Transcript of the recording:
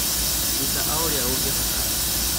ruta o ũrĩa ũngĩhota